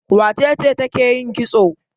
Wace ce take yin kitso?